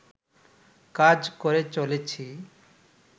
কাজ করে চলেছি